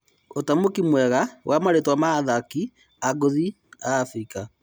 ũtamũki mwega wa marĩtwa ma-athaki ngũthi a Afirika.